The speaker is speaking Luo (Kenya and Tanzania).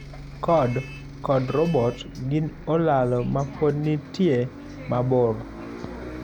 Code kod robot gin olalo mapod nitie mabor.